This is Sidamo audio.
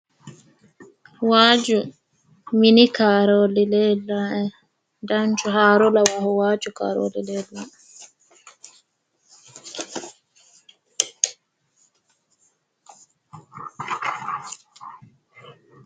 Waajju mini kaarooli leellawoe. Danchu haaro lawaahu waajju kaarooli leellawoe.